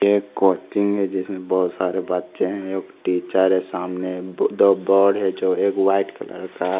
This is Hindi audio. एक कोचिंग है जिसमे बहुत सारे बच्चे है एक टीचर है सामने दो बोर्ड है जो एक व्हाइट कलर का है।